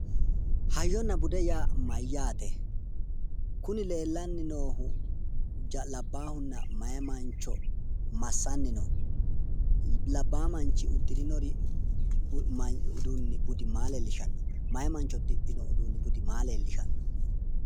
Hayyona bude yaa mayyaate? Kuni leellanni noohu labbaahunna meyaa mancho massanni no? Labbaa manchi uddirinori uduunni budi maa leellishanno? Meyaa mancho uddidhino uduunni budi maa leellishanno?